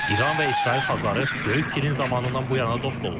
İran və İsrail xalqları Böyük Kirin zamanından bu yana dost olublar.